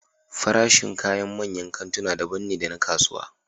Farashin kayan manyan kantuna daban ne da na kasuwa